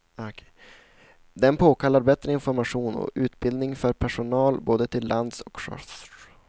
Den påkallar bättre information och utbildning för personal både till lands och till sjöss.